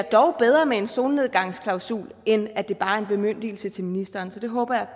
dog er bedre med en solnedgangsklausul end at det bare er en bemyndigelse til ministeren så det håber jeg